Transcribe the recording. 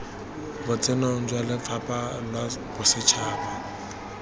botsenong jwa lefapha la bosetšhaba